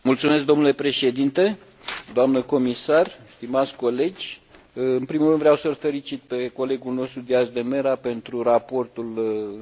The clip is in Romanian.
În primul rând, vreau să îl felicit pe colegul nostru Díaz de Mera pentru raportul întocmit.